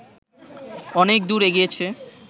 অনেক দূর এগিয়েছে